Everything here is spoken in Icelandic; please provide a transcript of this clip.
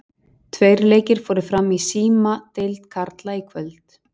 Tveir leikir fóru fram í Símadeild karla í kvöld.